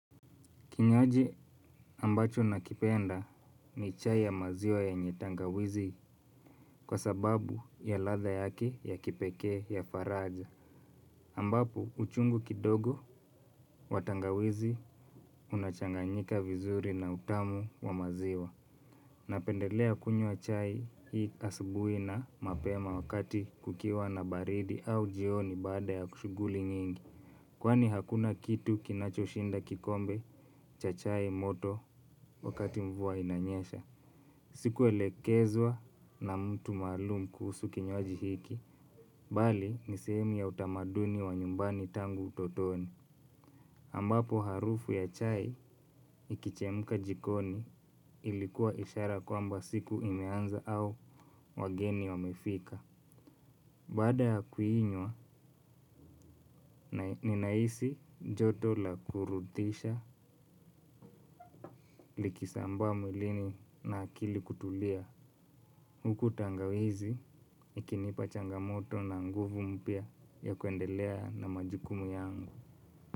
Kinywaji ambacho nakipenda ni chai ya maziwa yenye tangawizi kwa sababu ya ladha yake ya kipekee ya faraja. Ambapo uchungu kidogo wa tangawizi unachanganyika vizuri na utamu wa maziwa. Napendelea kunywa chai hii asubuhi na mapema wakati kukiwa na baridi au jioni baada ya shughuli nyingi. Kwani hakuna kitu kinachoshinda kikombe cha chai moto wakati mvua inanyesha. Sikuelekezwa na mtu maalum kuhusu kinywaji hiki. Bali ni sehemu ya utamaduni wa nyumbani tangu utotoni. Ambapo harufu ya chai ikichemka jikoni ilikuwa ishara kwamba siku imeanza au wageni wamefika. Baada ya kuinywa, ninahisi joto la kuridhisha likisambaa mwilini na akili kutulia. Huku tangawizi ikinipa changamoto na nguvu mpya ya kuendelea na majukumu yangu.